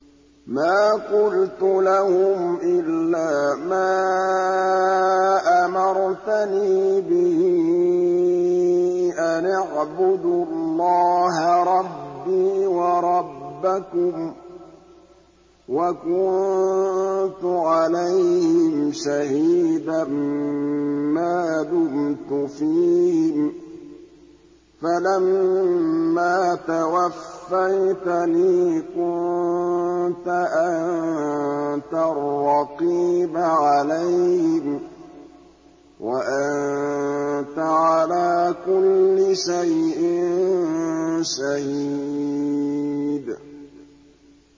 مَا قُلْتُ لَهُمْ إِلَّا مَا أَمَرْتَنِي بِهِ أَنِ اعْبُدُوا اللَّهَ رَبِّي وَرَبَّكُمْ ۚ وَكُنتُ عَلَيْهِمْ شَهِيدًا مَّا دُمْتُ فِيهِمْ ۖ فَلَمَّا تَوَفَّيْتَنِي كُنتَ أَنتَ الرَّقِيبَ عَلَيْهِمْ ۚ وَأَنتَ عَلَىٰ كُلِّ شَيْءٍ شَهِيدٌ